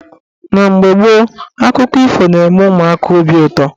Na mgbe gboo, akụkọ ifo na-eme ụmụaka obi ụtọ.